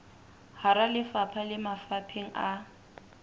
hara lefapha le mafapheng a